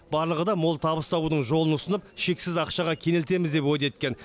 барлығы да мол табыс табудың жолын ұсынып шексіз ақшаға кенелтеміз деп уәде еткен